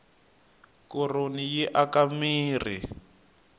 koroni yi aka mirhi